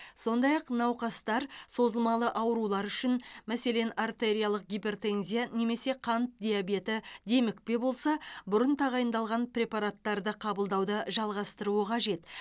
сондай ақ науқастар созылмалы аурулары үшін мәселен артериялық гипертензия немесе қант диабеті демікпе болса бұрын тағайындалған препараттарды қабылдауды жалғастыруы қажет